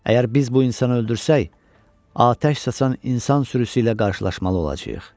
Əgər biz bu insanı öldürsək, atəş saçan insan sürüsü ilə qarşılaşmalı olacağıq.